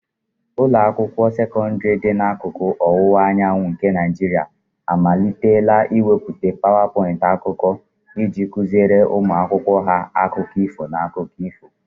Ụlọ akwụkwọ sekọndrị dị n'akụkụ ọwụwa anyanwụ nke Naijiria amalitela ịmepụta PowerPoint akụkọ iji kụziere ụmụ akwụkwọ ha akụkọ ifo na akụkọ ifo.